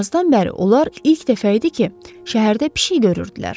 Yazdan bəri onlar ilk dəfə idi ki, şəhərdə pişik görürdülər.